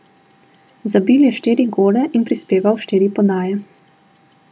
Zabil je štiri gole in prispeval štiri podaje.